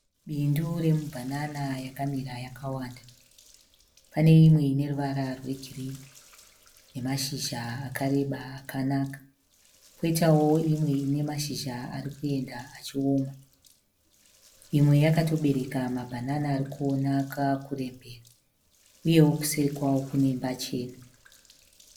Bindu remubanana yakamira yakawanda. Pane imwe ine ruvara rwegirini nemashizha akareba akanaka. Kwoitawo imwe ine mashizha ari kuenda achioma. Imwe yakatobereka mabanana ari kuonaka kurembera uyewo kuseri kwawo kune imba chena.